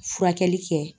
Furakɛli kɛ